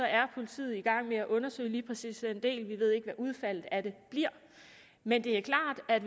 er politiet i gang med at undersøge lige præcis den del vi ved ikke hvad udfaldet af det bliver men det er klart at